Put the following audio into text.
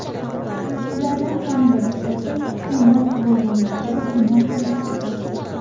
Ulardan kamida bittasi kuchli mast bo‘lganlikda gumon qilinmoqda.